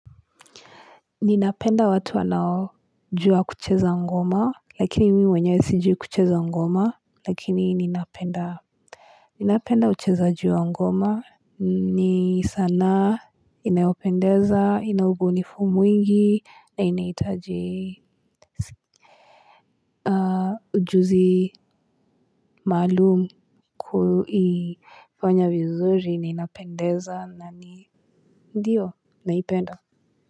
Ninapenda watu wanaojua kucheza ngoma lakini mimi wenyewe sijui kucheza ngoma lakini ninapenda ninapenda uchezaji ngoma ni sanaa inayopendeza yenye ubunifu mwingi na inahitaji ujuzi maalum kuifanya vizuri na inapendeza. Ndio, naipenda.